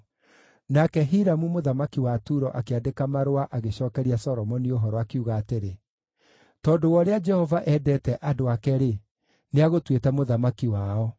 Nake Hiramu mũthamaki wa Turo akĩandĩka marũa agĩcookeria Solomoni ũhoro, akiuga atĩrĩ: “Tondũ wa ũrĩa Jehova endete andũ ake-rĩ, nĩagũtuĩte mũthamaki wao.”